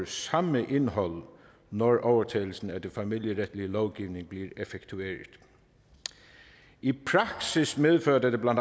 samme indhold når overtagelsen af den familieretlige lovgivning bliver effektueret i praksis medfører dette bla